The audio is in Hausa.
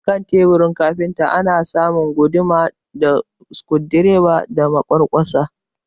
A kan teburin kafinta ana samun guduma da sikurudireba da makamantansu